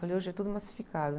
Falei, hoje é tudo massificado.